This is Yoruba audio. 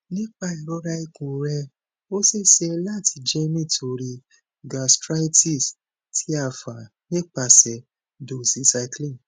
nipa irora ikun rẹ o ṣee ṣe lati jẹ nitori gastritis ti a fa nipasẹ doxycycline